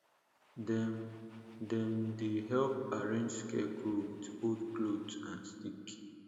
dem dem dey help arrange scarecrow with old cloth and stick